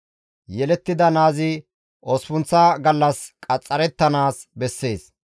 Yelettida naazi osppunththa gallas qaxxarettanaas bessees.